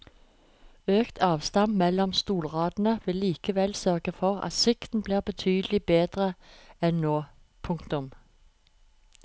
Økt avstand mellom stolradene vil likevel sørge for at sikten blir betydelig bedre enn nå. punktum